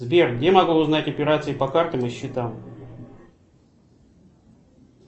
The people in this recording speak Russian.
сбер где могу узнать операции по картам и счетам